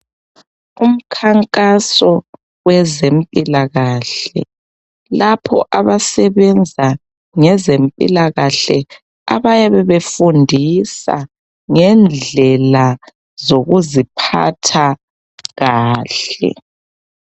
Umkhankaso wezempilakahle lapho abasebenza ngezempilakahle abayabe befundisa ngendlela zokuziphatha kahle.